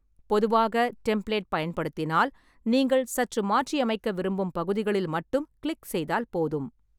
பொதுவாக, டெம்ப்ளேட் பயன்படுத்தினால் நீங்கள் சற்று மாற்றியமைக்க விரும்பும் பகுதிகளில் மட்டும் கிளிக் செய்தால் போதும்.